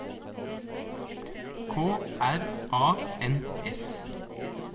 K R A N S